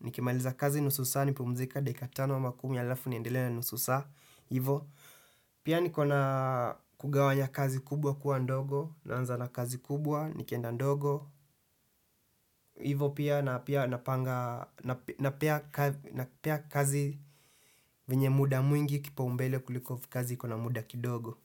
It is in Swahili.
nikimaliza kazi nusu saa nipumzike dakika tano ama kumi alafu niendelee na nusu saa hivo pia nikona kugawanya kazi kubwa kuwa ndogo naanza na kazi kubwa nikienda ndogo hivo pia na pia napanga napia kazi venye muda mwingi kipaumbele kuliko kazi ikona muda kidogo.